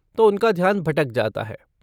तो उनका ध्यान भटक जाता है।